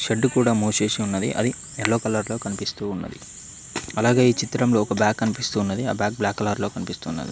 Shed కూడా మూసేసున్నది అది ఎల్లో కలర్ లో కనిపిస్తూ ఉన్నది అలాగే ఈ చిత్రంలో ఒక బ్యాగ్ కనిపిస్తూ ఉన్నది ఆ బ్యాగ్ బ్లాక్ కలర్ లో కనిపిస్తు ఉన్నది.